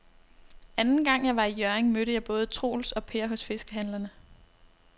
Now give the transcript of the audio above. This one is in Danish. Anden gang jeg var i Hjørring, mødte jeg både Troels og Per hos fiskehandlerne.